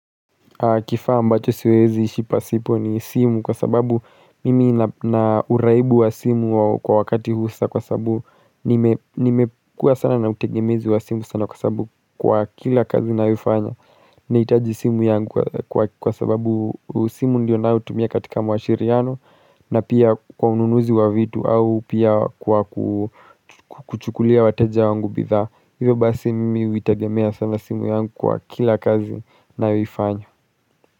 Kifaa mbacho siwezi ishi pasipo ni simu kwa sababu mimi na uraibu wa simu kwa wakati huu sa kwa sabu nimekua sana na utegemezi wa simu sana kwa sabu kwa kila kazi nayofanya. Naitaji simu yangu kwa sababu simu ndio naotumia katika mwashiriano na pia kwa ununuzi wa vitu au pia kwa kuchukulia wateja wangu bidhaa. Hivyo basi mimi uitegemea sana simu yangu kwa kila kazi naoifanya.